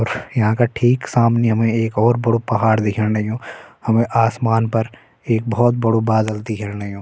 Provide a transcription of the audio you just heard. और यहा का ठीक सामने हमें एक और बड़ू पहाड़ दिख्येण लग्युं हमें आसमान पर एक भौत बड़ू बादल दिख्येण लग्युं।